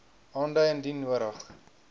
aandui indien nodig